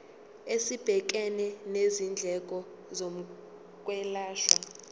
esibhekene nezindleko zokwelashwa